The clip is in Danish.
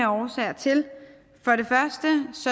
årsager til